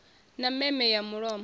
a na meme ya mulomo